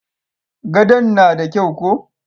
Gadon na da kyau ko?